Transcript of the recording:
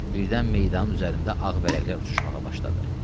Birdən meydanın üzərində ağ vərəqlər uçuşmağa başladı.